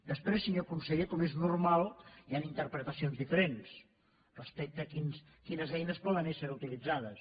després senyor conseller com és normal hi han interpretacions diferents respecte a quines eines poden ésser utilitzades